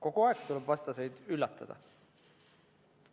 Kogu aeg tuleb vastaseid üllatada.